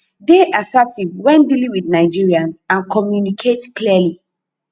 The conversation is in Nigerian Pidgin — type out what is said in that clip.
dey assertive when dealing with nigerians and communicate clearly